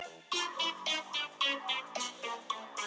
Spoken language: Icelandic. Það var eins og skemmdarfýsnin fylgdi hverju fótmáli.